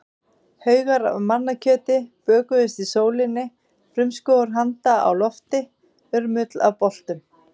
Haugar af mannakjöti bökuðust í sólinni, frumskógur handa á lofti, urmull af boltum.